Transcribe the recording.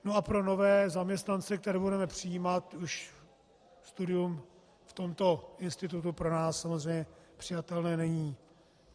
No a pro nové zaměstnance, které budeme přijímat, už studium v tomto institutu pro nás samozřejmě přijatelné není.